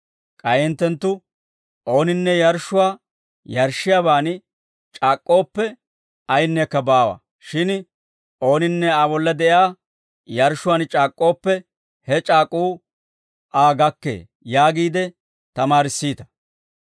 K'ay hinttenttu, ‹Ooninne yarshshuwaa yarshshiyaaban c'aak'k'ooppe, ayinneekka baawa; shin ooninne Aa bolla de'iyaa yarshshuwaan c'aak'k'ooppe, he c'aak'uu Aa gakkee› yaagiide tamaarissiita.